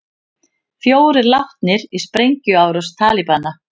Fjórir látnir í sprengjuárás Talibana